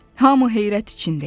Hamı heyrət içində idi.